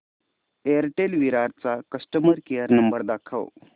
Airtel Virar चा customer care number दाखव